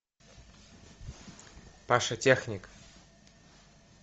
паша техник